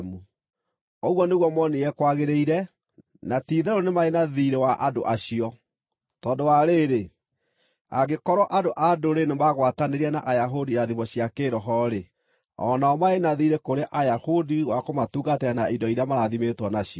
Ũguo nĩguo moonire kwagĩrĩire, na ti-itherũ nĩ marĩ na thiirĩ wa andũ acio. Tondũ wa rĩĩrĩ, angĩkorwo andũ-a-Ndũrĩrĩ nĩmagwatanĩire na Ayahudi irathimo cia kĩĩroho-rĩ, o nao marĩ na thiirĩ kũrĩ Ayahudi wa kũmatungatĩra na indo iria marathimĩtwo nacio.